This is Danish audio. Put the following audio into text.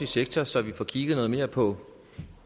sektor så vi får kigget noget mere på